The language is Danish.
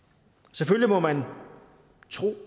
selvfølgelig må man tro